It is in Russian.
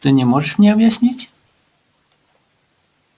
ты не можешь мне объяснить